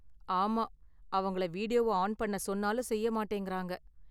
ஆமா, அவங்கள வீடியோவ ஆன் பண்ண சொன்னாலும் செய்ய மாட்டேங்கறாங்க.